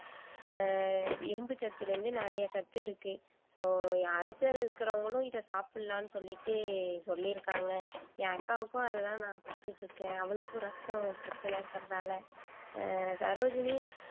ஆஹ் இரும்பு சத்திலிருந்து நிறைய சத்து இருக்கு சோ அல்சர் இருக்கிறவங்களும் இத சாப்பிடலான்னு சொல்லிட்டு சொல்லிருக்காங்க என் அக்காவுக்கும் அதுதான் நான் கொடுத்துட்டு இருக்கேன் அவளுக்கும் ரத்தம் பிரச்சனை இருக்கிறதுனால ஆஹ் சரோஜினி